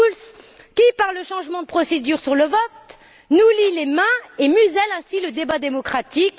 Schulz, qui, par le changement de procédure sur le vote, nous lie les mains et muselle ainsi le débat démocratique.